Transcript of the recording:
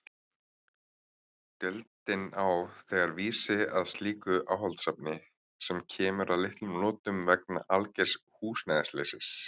Deildin á þegar vísi að slíku áhaldasafni, sem kemur að litlum notum vegna algers húsnæðisleysis.